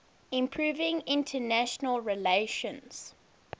improving international relations